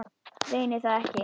Reyni það ekki.